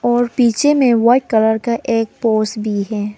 और पीछे में वाइट कलर का एक पोस् भी है।